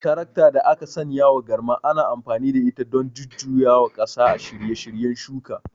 Tarakta da aka sanyawa garma ana amfani da ita don jujjuyawa ƙasa a shirye shiryen yin shuka.